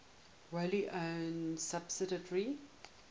wholly owned subsidiary